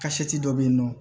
dɔ bɛ yen nɔ